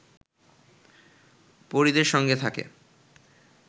পরিদের সঙ্গে থাকে